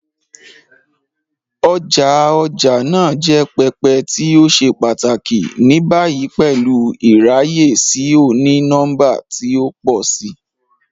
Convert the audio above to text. Ọja ọja naa jẹ pẹpẹ ti o ṣe pataki, ni bayi pẹlu iraye si oni-nọmba ti o pọ si.